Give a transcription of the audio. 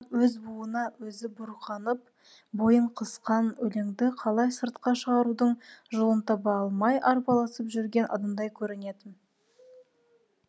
маған өз буына өзі буырқанып бойын қысқан өлеңді қалай сыртқа шығарудың жолын таба алмай арпалысып жүрген адамдай көрінетін